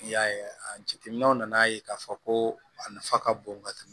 N'i y'a ye a jateminɛw nana ye k'a fɔ ko a nafa ka bon ka tɛmɛ